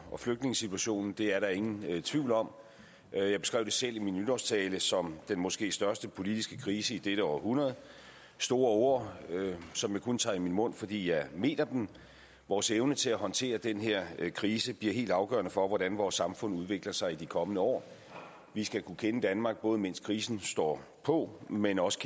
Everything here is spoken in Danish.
og flygtningesituationen det er der ingen tvivl om jeg beskrev det selv i min nytårstale som den måske største politiske krise i dette århundrede store ord som jeg kun tager i min mund fordi jeg mener dem vores evne til at håndtere den her krise bliver helt afgørende for hvordan vores samfund udvikler sig i de kommende år vi skal kunne kende danmark både mens krisen står på men også